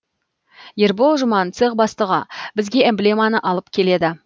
ербол жұман цех бастығы бізге эмблеманы алып келеді